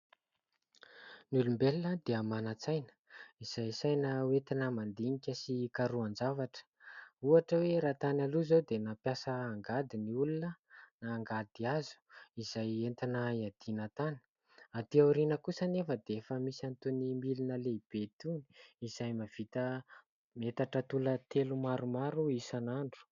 Ny olombelona dia manan-tsaina. Izay saina ho entina mandinika sy hikarohan-javatra. Ohatra hoe : raha tany aloha izao dia nampiasa angady ny olona na angady hazo izay entina iadiana tany ; aty aoriana kosa anefa dia efa misy an'itony milina lehibe itony izay mahavita metatra toratelo maromaro isan'andro.